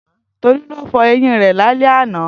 Tolu lo fo eyin re lale ana.